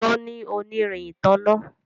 Sesan ní onirin ìtanná.